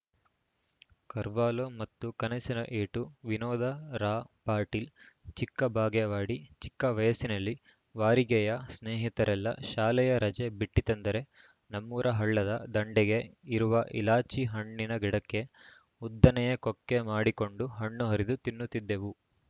ಕರ್ವಾಲೋ ಮತ್ತು ಕನಸಿನ ಏಟು ವಿನೋದ ರಾ ಪಾಟೀಲ ಚಿಕ್ಕಬಾಗೇವಾಡಿ ಚಿಕ್ಕವಯಸ್ಸಿನಲ್ಲಿ ವಾರಿಗೆಯ ಸ್ನೇಹಿತರೆಲ್ಲ ಶಾಲೆಯ ರಜೆ ಬಿಟ್ಟಿತೆಂದರೆ ನಮ್ಮೂರ ಹಳ್ಳದ ದಂಡೆಗೆ ಇರುವ ಎಲಾಚಿ ಹಣ್ಣಿನ ಗಿಡಕ್ಕೆ ಉದ್ದನೆಯ ಕೊಕ್ಕೆ ಮಾಡಿಕೊಂಡು ಹಣ್ಣು ಹರಿದು ತಿನ್ನುತ್ತಿದ್ದೆವು